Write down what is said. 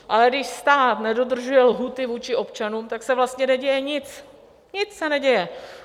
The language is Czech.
Ale když stát nedodržuje lhůty vůči občanům, tak se vlastně neděje nic, nic se neděje.